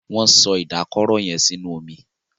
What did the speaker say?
Wón so Ìdákọrò yén sínú omí.